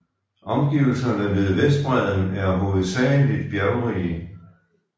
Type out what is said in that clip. Omgivelserne ved Vestbredden er hovedsageligt bjergrige